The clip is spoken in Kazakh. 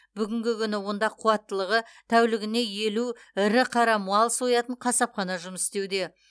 бүгінгі күні онда қуаттылығы тәулігіне елу ірі қара мал соятын қасапхана жұмыс істеуде